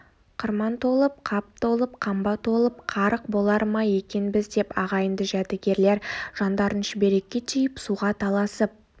қырман толып қап толып қамба толып қарық болар ма екенбіз деп ағайынды жәдігерлер жандарын шүберекке түйіп суға таласып